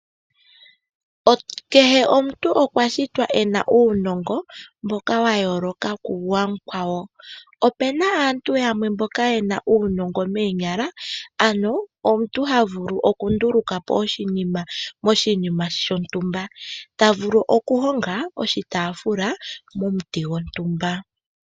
Kehe omuntu okwa shitwa ena uunongo mboka wa yooloka ku wa mukwawo, ope na aantu yamwe mboka ye na uunongo moonyala ano omuntu ha vulu okunduluka po oshinima moshinima shontumba, ta vulu okuhonga oshitaafula momuti gontumba.